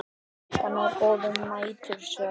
Og líka ná góðum nætursvefni.